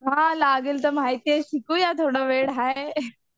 हां लागेल तर माहिती आहे शिकूया थोडं वेळ हाय.